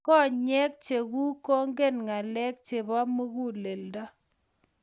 konyek chenguk kongen ngalek chebo muguleldo